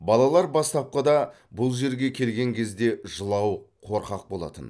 балалар бастапқыда бұл жерге келген кезде жылауық қорқақ болатын